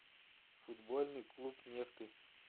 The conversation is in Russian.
футбольный клуб нефты